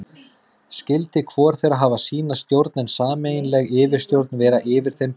Skyldi hvor þeirra hafa sína stjórn, en sameiginleg yfirstjórn vera yfir þeim báðum.